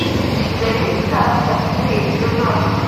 у тебя есть сказ о петре и февронии